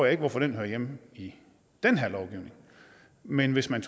ikke hvorfor det hører hjemme i den her lovgivning men hvis man